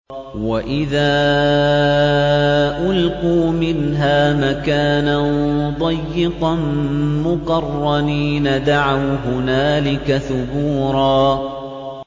وَإِذَا أُلْقُوا مِنْهَا مَكَانًا ضَيِّقًا مُّقَرَّنِينَ دَعَوْا هُنَالِكَ ثُبُورًا